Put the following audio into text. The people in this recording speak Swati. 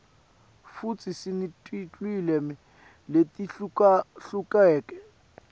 futsi sinetilwimi letihlukahlukene